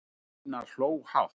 Stína hló hátt.